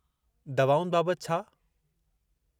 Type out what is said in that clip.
दवाउनि बाबतु छा ?